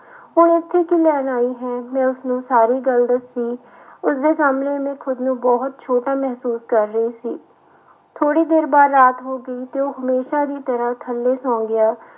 ਹੁਣ ਇੱਥੇ ਕੀ ਲੈਣ ਆਈ ਹੈ ਮੈਂ ਉਸਨੂੰ ਸਾਰੀ ਗੱਲ ਦੱਸੀ ਉਸਦੇ ਸਾਹਮਣੇ ਮੈਂ ਖੁੱਦ ਨੂੰ ਬਹੁਤ ਛੋਟਾ ਮਹਿਸੂਸ ਕਰ ਰਹੀ ਸੀ, ਥੋੜ੍ਹੀ ਦੇਰ ਬਾਅਦ ਰਾਤ ਹੋ ਗਈ ਤੇ ਉਹ ਹਮੇਸ਼ਾ ਦੀ ਤਰ੍ਹਾਂ ਥੱਲੇ ਸੌਂ ਗਿਆ,